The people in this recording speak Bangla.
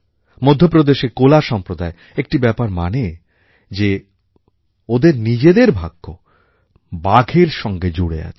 মধ্যপ্রদেশের কোলা সম্প্রদায় একটি ব্যাপার মানে যে ওদের নিজেদের ভাগ্য বাঘের সঙ্গে জুড়ে আছে